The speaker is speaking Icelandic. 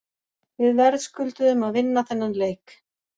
Við verðskulduðum að vinna þennan leik.